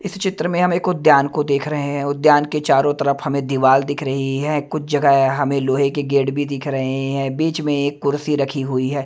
इस चित्र में हम एक उद्यान को देख रहे हैं उद्यान के चारों तरफ हमें दीवाल दिख रही है कुछ जगह हमें लोहे के गेट भी दिख रहे हैं बीच में एक कुर्सी रखी हुई है।